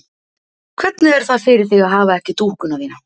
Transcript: Hvernig er það fyrir þig að hafa ekki dúkkuna þína?